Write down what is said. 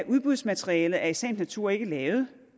udbudsmaterialet er i sagens natur ikke lavet